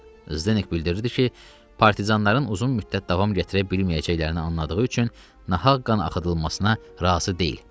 Zenek bildirdi ki, partizanların uzun müddət davam gətirə bilməyəcəklərini anladığı üçün nahaq qan axıdılmasına razı deyil.